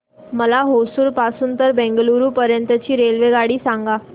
मला होसुर पासून तर बंगळुरू पर्यंत ची रेल्वेगाडी सांगा